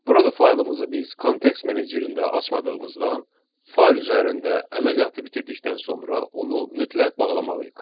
Burada faylımızı biz context menecerində açmadığımızdan fayl üzərində əməliyyatı bitirdikdən sonra onu mütləq bağlamalıyıq.